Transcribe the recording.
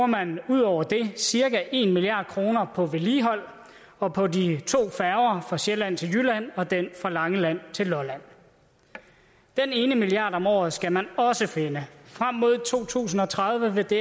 man ud over det cirka en milliard kroner på vedligehold og på de to færger fra sjælland til jylland og den fra langeland til lolland den ene milliard om året skal man også finde frem mod to tusind og tredive vil det